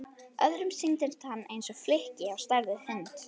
Öðrum sýndist hann eins og flykki á stærð við hund.